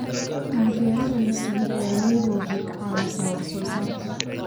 Taageerada la siiyo beeralayda waxay ka caawisaa wax soo saarka.